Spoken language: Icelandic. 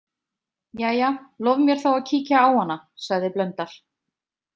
Jæja, lof mér þá að kíkja á hana, sagði Blöndal.